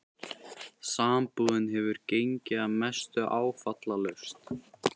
Sambúðin hefur gengið að mestu áfallalaust.